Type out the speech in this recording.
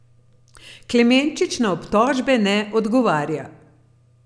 Klemenčič na obtožbe ne odgovarja.